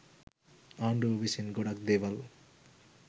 ආණ්ඩුව විසින් ගොඩක් දේවල්